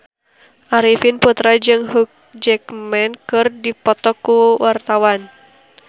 Arifin Putra jeung Hugh Jackman keur dipoto ku wartawan